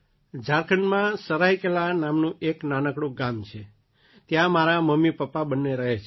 મારી માતાજી સરાઇકેલા નામનું એક નાનકડું ગામ છે ઝારખંડમાં ત્યાં મારાં મમ્મીપપ્પા બંને રહે છે